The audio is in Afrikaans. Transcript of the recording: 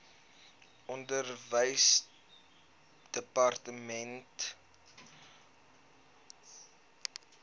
onderwysdepartement wkod geopen